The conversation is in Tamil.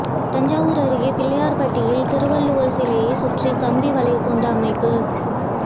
தஞ்சாவூர் அருகே பிள்ளையார்பட்டியில் திருவள்ளுவர் சிலையை சுற்றி கம்பி வலைக்கூண்டு அமைப்பு